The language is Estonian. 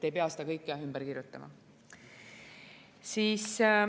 Ei pea seda kõike ümber kirjutama.